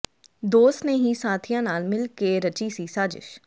ਦੋਸਤ ਨੇ ਹੀ ਸਾਥੀਆਂ ਨਾਲ ਮਿਲ ਕੇ ਰਚੀ ਸੀ ਸਾਜਿਸ਼